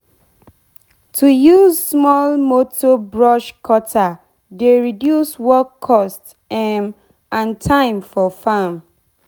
to use small motor brush cutter dey reduce work cost um and time for farm.